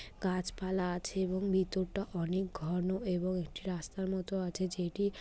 গাছপালা আছে এবং ভেতরটা অনেক ঘন এবং একটি রাস্তা মত আছে যেটি --